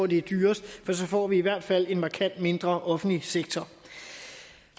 det dyreste for så får vi i hvert fald en markant mindre offentlig sektor